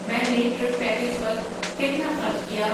میں نے trip package پر کتنا خرچ کیا؟